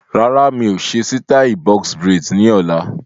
Rárá, mi ò ṣe sítai "Box braids" ni ọ̀la.